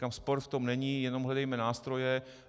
Říkám, spor v tom není, jenom hledejme nástroje.